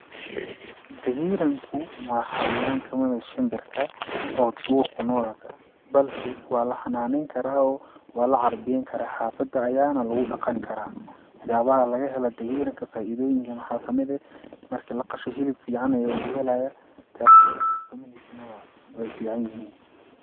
Dagiiranku waa xawayaan kamid ah shimbirka oo duur kunoolka ah, balse waa la xanaaneyn karaa, waa la carbiyen karaa xafada ayaana lagu dhaqani karaa waxyaabaha laga helo dagiranku faidooyinka waxaa kamid ah marki laqasho hilib fican ayaa laga helaaya, tedakale ukumoihiisa nah way fican yihiin.